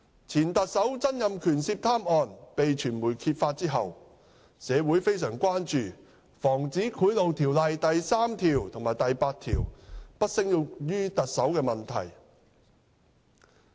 前特首曾蔭權涉貪案被傳媒揭發後，社會非常關注《防止賄賂條例》第3條及第8條不適用於特首的問題。